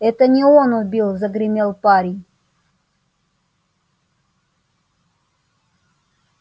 это не он убил загремел парень